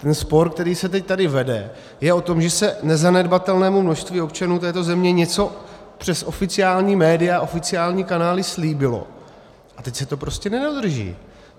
Ten spor, který se teď tady vede, je o tom, že se nezanedbatelnému množství občanů této země něco přes oficiální média, oficiální kanály slíbilo, a teď se to prostě nedodrží.